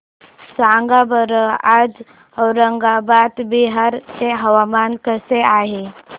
सांगा बरं आज औरंगाबाद बिहार चे हवामान कसे आहे